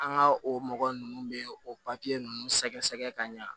An ka o mɔgɔ ninnu bɛ o papiye ninnu sɛgɛsɛgɛ ka ɲa